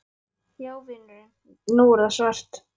Já vinurinn. nú er það svart!